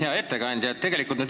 Hea ettekandja!